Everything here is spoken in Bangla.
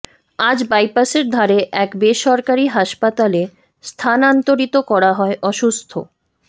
আজ বাইপাসের ধারে এক বেসরকারি হাসপাতালে স্থানান্তরিত করা হয় অসুস্থ